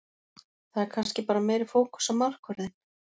Það er kannski bara meiri fókus á markvörðinn.